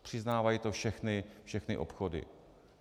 Přiznávají to všechny obchody.